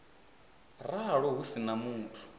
ralo hu si na muthu